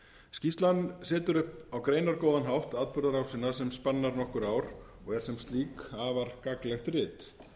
skýrslan setur upp á greinargóðan hátt atburðarásina sem spannar nokkur ár og er sem slík afar gagnlegt rit